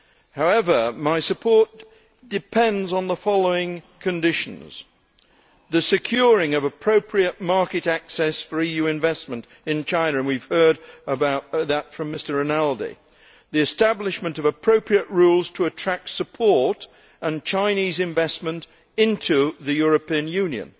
However, my support depends on the following conditions the securing of appropriate market access for EU investment in China and we have heard about that from Mr Rinaldi and the establishment of appropriate rules to attract support and Chinese investment into the European Union.